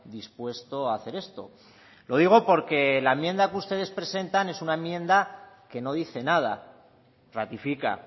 dispuesto a hacer esto lo digo porque la enmienda que ustedes presentan es una enmienda que no dice nada ratifica